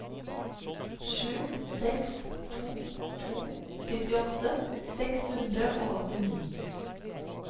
sju seks to to syttiåtte seks hundre og åttini